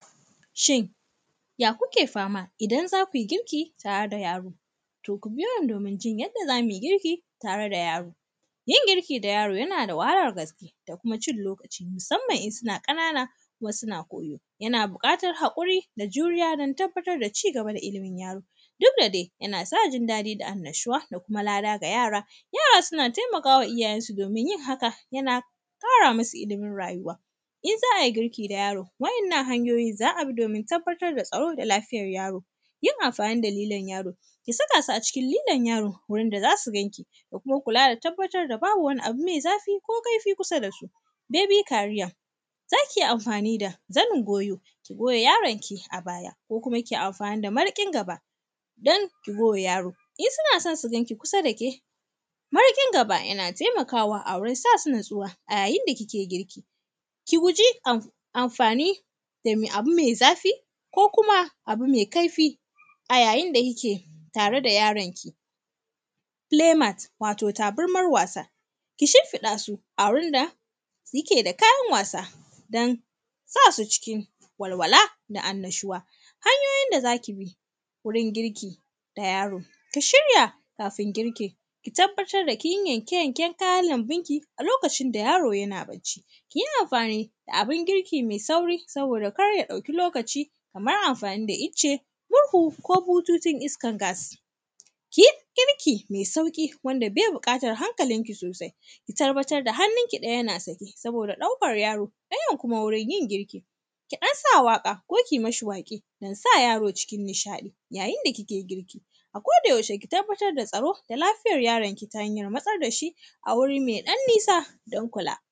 Shin, ya kuke fama, idan za kui girki tare da yaro? To, ku biyo ni domin jin yadda za mi girki tare da yaro. Yin girki da yaro, yana da wahalar gaske da kuma cin lokaci, musamman in sina ƙanana kuma suna koyo. Yana buƙatar haƙuri da juriya, dan tabbatar da ci gaba da ilimin yaro, dud da de, yana sa jin daɗi da annashuwa da kuma lada ga yara, yaran suna temaka wa iyayensu domin yin haka, yana ƙara musu ilimin rayuwa. In za ai girki da yaro, wa’yannan hanyoyi za a bi dmomin tabbatar da tsaro da lafiyar yaro. Yin amfani da lilon yaro, ki saka su a cikin lilon yaro gurin da za su gan ki, da kuma kula da tabbatar da babu wani abu me zafi ko kaifi kusa da su. “Baby Career”, za ki iya amfani da zanin goyo, ko goya yaronki a baya. Ko kuma, ki amfani da mariƙin gaba, don ki goya yaro, in suna son su gan ki kusa da ke, mariƙin gaba, yana temakawa a wurin sa su natsuwa a yayin da kike girki. Ki guji am; amfani da me abu me zafi ko kuma abu me kaifi a yayin da kike tare da yaranki. “Play mat”, wato tabarmar wasa, ki shimfiɗa su a wurin da sike da kayan wasa, dan sa su cikin walwala da annashuwa. Hanyoyin da za ki bi wurin girki da yaro, ki shirya kafin girki. Ki tabbatar da kin yi yanke-yanken kayan lambinki a lokacin da yaro yana bacci. Ki yi amfani da abin girki me sauri, saboda kar ya ɗauki lokaci, kamar amfani da ice, murhu ko bututun iskar gas. Ki yi girki me sauƙi, wanda be biƙatar hankalinki sosai, ki tabbatar da hannunki ɗaya na sake, saboda ɗaukar yaro, ɗayan kuma wurin yin girki. Ki ɗan sa waƙa ko ki mishi waƙe, dan sa yaro cikin nishaɗi, yayin da kike girki. A kodayaushe, ki tabbatar da tsaro da lafiyar yaronki ta hanyar matsar da shi a wuri me ɗan nisa, don kula.